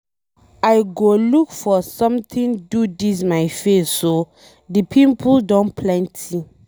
I go look for something do dis my face oo. The pimple don plenty.